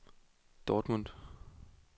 Dortmund